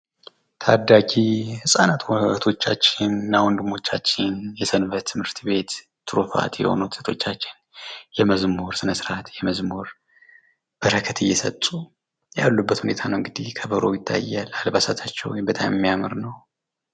ታዳጊ ህጻናት እህቶቻችን እና ወንድሞቻችን የሰንበት ትምህርት ቤት ትሩፋት የሆኑ እህቶቻችን የመዝሙር ስነስርዓት የመዝሙር በረከት እየሰጡ ያሉበት ሁኔታ ነው እንግዲህ ከበሮው ይታያል። አልባሳታቸው በጣም የሚያምር ነው።